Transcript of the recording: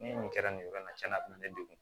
Ni nin kɛra nin yɔrɔ in na tiɲɛ na a bɛna ne degun